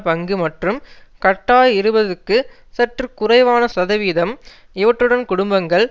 பங்கு மற்றும் கட்டார் இருபதுக்கு சற்று குறைவான சதவிதம் இவற்றுடன் குடும்பங்கள்